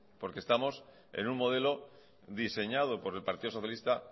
porque estamos en un modelo diseñado por el partido socialista